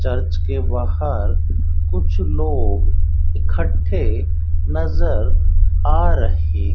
church के बाहर कुछ लोग इकट्ठे नजर आ रहे --